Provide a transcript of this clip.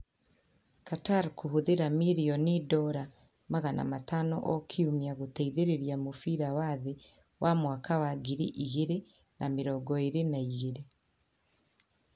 Qatar kũhũthĩra mirioni $500 o kiumia gũteithĩrĩria mũbira wa thĩ wa 2022